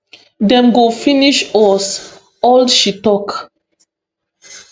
dem go finish us all she tok